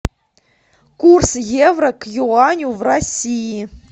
курс евро к юаню в россии